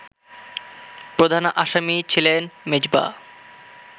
প্রধান আসামি ছিলেন মেজবা